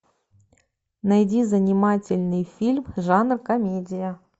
найди занимательный фильм жанр комедия